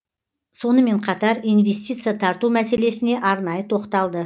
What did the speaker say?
сонымен қатар инвестиция тарту мәселесіне арнайы тоқталды